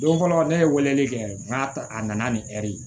Don fɔlɔ ne ye weleli kɛ n ka a nana ni ɛri ye